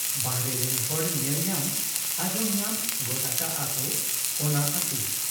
ᱵᱟᱦᱨᱮ ᱨᱤᱱ ᱦᱚᱲ ᱧᱮᱞ ᱧᱟᱢ ᱟᱸᱡᱚᱢ ᱧᱟᱢ ᱜᱚᱫ ᱟᱠᱟᱜ ᱟ ᱠᱚ ᱚᱱᱟ ᱟᱹᱛᱩ ᱾